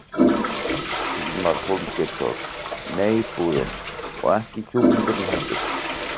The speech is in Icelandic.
Hilmar Hólmgeirsson: Nei búðin, og ekki kjúklingurinn heldur?